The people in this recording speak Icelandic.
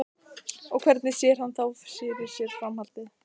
Og hvernig sé hann þá fyrir sér framhaldið?